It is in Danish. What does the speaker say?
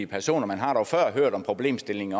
personer man har dog før hørt om problemstillingen